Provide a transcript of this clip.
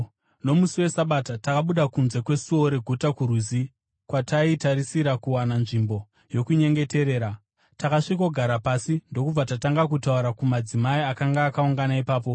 Nomusi weSabata takabuda kunze kwesuo reguta kurwizi, kwataitarisira kuwana nzvimbo yokunyengeterera. Takasvikogara pasi ndokubva tatanga kutaura kumadzimai akanga akaungana ipapo.